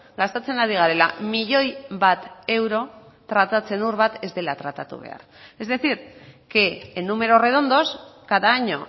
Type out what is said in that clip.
gastatzen ari garela milioi bat euro tratatzen ur bat ez dela tratatu behar es decir que en números redondos cada año